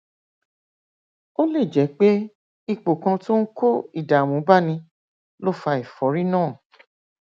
ó lè jẹ pé ipò kan tó ń kó ìdààmú báni ló fa ẹfọrí náà